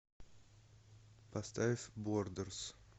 поставь бордерс